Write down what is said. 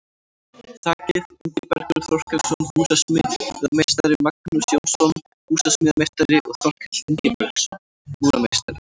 Þakið: Ingibergur Þorkelsson, húsasmíðameistari, Magnús Jónsson, húsasmíðameistari og Þorkell Ingibergsson, múrarameistari.